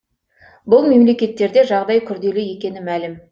бұл мемлекеттерде жағдай күрделі екені мәлім